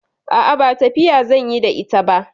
A'a, ba tafiya zan yi da ita ba.